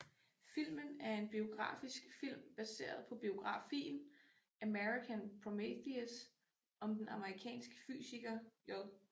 Filmen er en biografisk film baseret på biografien American Prometheus om den amerikanske fysiker J